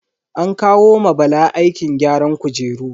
An kawo ma Bala aikin gyaran kujeru.